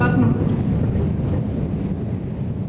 как мы будем сотрудничать